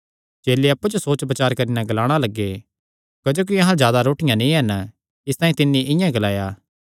चेले अप्पु च सोच बचार करी नैं ग्लाणा लग्गे सैह़ इसतांई ग्लादा ऐ क्जोकि अहां अल्ल रोटियां नीं हन